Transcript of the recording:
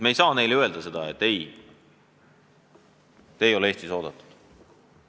Me ei saa neile öelda, et te ei ole Eestis oodatud.